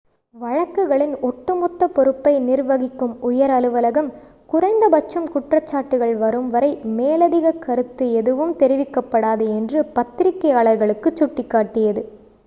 வழக்குகளின் ஒட்டுமொத்த பொறுப்பை நிர்வகிக்கும் உயர் அலுவலகம் குறைந்தபட்சம் குற்றச்சாட்டுகள் வரும்வரை மேலதிக கருத்து எதுவும் தெரிவிக்கப்படாது என்று பத்திரிகையாளர்களுக்குச் சுட்டிக்காட்டியது